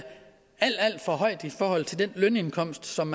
alt alt for højt i forhold til den lønindkomst som